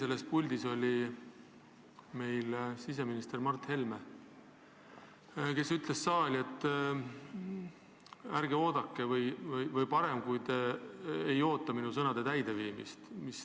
Eile oli selles puldis siseminister Mart Helme, kes ütles saalile, et on parem, kui ei oodata tema sõnade täideminemist.